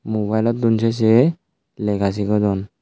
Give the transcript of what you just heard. mobile lottun sei sei lega sigodon.